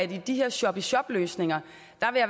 de her shop i shop løsninger